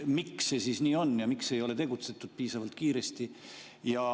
Miks see siis nii on ja miks ei ole tegutsetud piisavalt kiiresti?